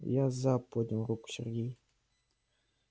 я за поднял руку сергей